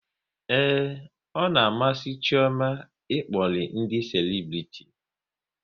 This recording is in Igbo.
Ee, ọ na-amasị Chioma ịkpọri ndị selebriti